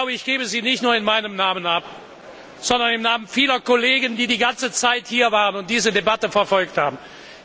Ich gebe sie nicht nur in meinem Namen, sondern im Namen vieler Kollegen, die die ganze Zeit hier waren und diese Debatte verfolgt haben, ab.